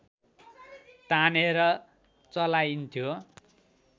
तानेर चलाइन्थ्यो